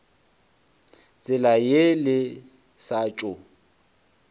tsela ye le sa tšo